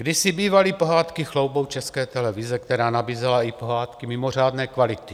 Kdysi bývaly pohádky chloubou České televize, která nabízela i pohádky mimořádné kvality.